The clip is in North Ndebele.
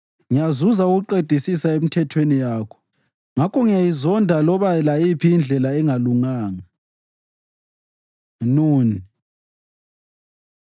Ngiyazuza ukuqedisisa emithethweni yakho; ngakho ngiyayizonda loba layiphi indlela engalunganga. נ Nun